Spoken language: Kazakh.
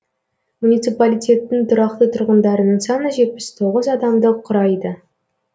муниципалитеттің тұрақты тұрғындарының саны жетпіс тоғыз адамды құрайды